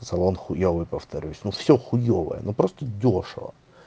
салон хуёвый повторюсь ну всё хуёвое ну просто дёшево